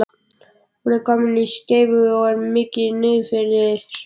Hún er komin með skeifu og er mikið niðrifyrir.